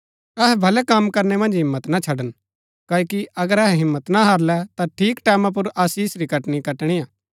अहै भलै कम करनै मन्ज हिम्मत ना छड़न क्ओकि अगर अहै हिम्मत ना हारलै ता ठीक टैमां पुर आशीष री कटनी कटणिआ